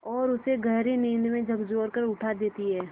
और उसे गहरी नींद से झकझोर कर उठा देती हैं